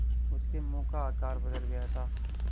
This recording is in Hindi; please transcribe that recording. उसके मुँह का आकार बदल गया था